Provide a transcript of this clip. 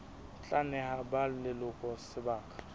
tla neha ba leloko sebaka